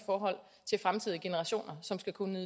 i generationer som skal kunne